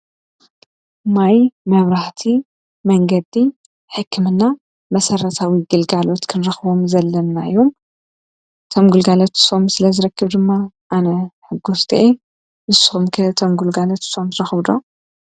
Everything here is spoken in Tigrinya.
ማይ ማያብራህቲ መንገዲ ሕክምና መሠራታዊ ግልጋሎት ክንርኽቦም ዘለናዩም ተምጕልጋለትሶም ስለ ዝረክብ ድማ ኣነ ሕጐስጢየ ብሶምኪ ተምጕልጋለት ሶምስ ረኽብዶ?